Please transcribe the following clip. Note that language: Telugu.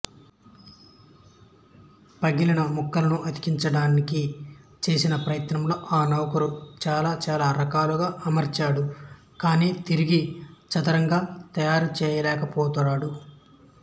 పగిలిన ముక్కలను అతికించడానికి చేసిన ప్రయత్నంలో ఆ నౌకరు చాలా చాలా రకాలుగా అమర్చాడు కానీ తిరిగి చదరంగా తయారుచేయలేకపోతాడు